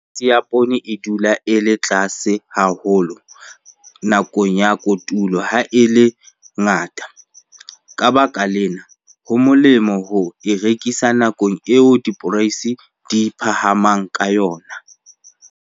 Poreisi ya poone e dula e le tlase haholo nakong ya kotulo ha e le ngata. Ka baka lena, ho molemo ho e rekisa nakong eo diporeisi di phahamang ka yona.